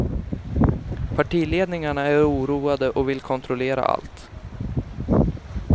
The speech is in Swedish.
Partiledningarna är oroade och vill kontrollera allt.